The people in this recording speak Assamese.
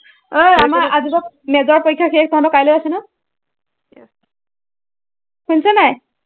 এৰ আমাৰ আজিৰ পৰা major পৰীক্ষা শেষ, তহঁতৰ কাইলৈ আছে ন? শুনিছ নাই?